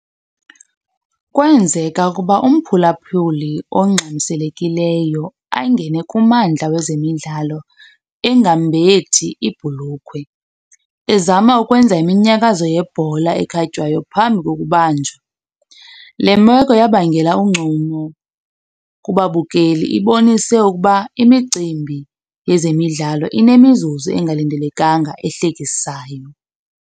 Kwenzeka ukuba umphulaphuli ongxamiselekileyo angene kumandla wezemidlalo engambethi ibhulukhwe ezama ukwenza iminyakazo yebhola ekhatywayo phambi kokubanjwa. Le meko yabangela uncumo kubabukeli, ibonise ukuba imicimbi yezemidlalo inemizuzu engalindelekanga ehlekisayo.